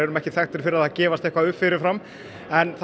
ekki þekkt fyrir það að gefast upp fyrifram en það